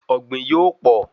Ọ̀gbìn yóò pọ